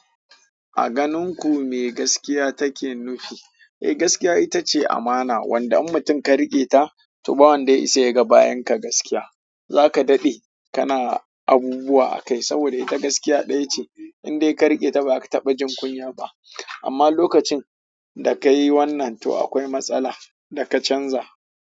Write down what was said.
A ganin ku me gaskiya take nufi? Eh gaskiya ita ce amana, wanda an mutum ka riƙe ta, to ba wanda ya isa ya ga bayan ka gaskiya. Za ka daɗe kana abubuwa a kai saboda ita gaskiya ɗaya ce, in dai ka riƙe ta ba ka taɓa jin kunya ba. Amma lokacin da ka yi wannan to akwai matsala da ka canza.